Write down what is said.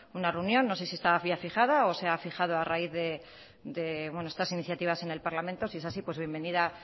una reunión no sé si estaba ya fijada o se ha fijado a raíz de estas iniciativas en el parlamento sí es así pues bienvenida